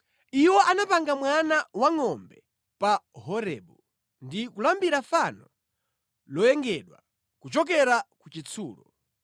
Iwo anapanga mwana wangʼombe pa Horebu ndi kulambira fano loyengedwa kuchokera ku chitsulo.